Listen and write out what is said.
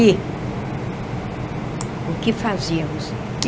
E o que fazíamos?